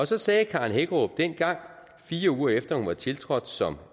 så sagde karen hækkerup dengang fire uger efter hun var tiltrådt som